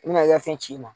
I bina i ka fɛn ci i ma